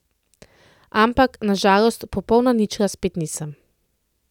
Ampak, na žalost, popolna ničla spet nisem.